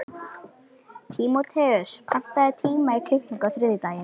Tímóteus, pantaðu tíma í klippingu á þriðjudaginn.